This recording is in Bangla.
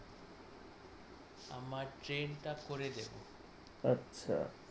আমার ট্রেনটা করে দেব । আচ্ছা